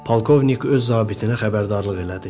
Polkovnik öz zabitinə xəbərdarlıq elədi.